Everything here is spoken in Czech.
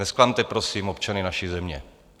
Nezklamte prosím občany naší země.